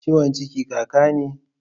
Ciwon ciki kaka ne?